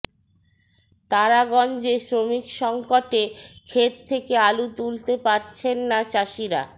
তারাগঞ্জে শ্রমিকসংকটে খেত থেকে আলু তুলতে পারছেন না চাষিরা